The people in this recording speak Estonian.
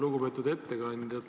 Lugupeetud ettekandja!